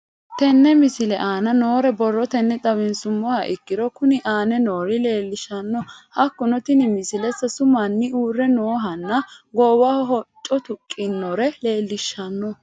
Tenne misile aana noore borrotenni xawisummoha ikirro kunni aane noore leelishano. Hakunno tinni misile sasu manni uure noohanna goowaho hocco tuqitinore leelishshano.